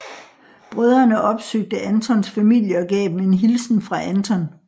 Brødrene opsøgte Antons familie og gav dem en hilsen fra Anton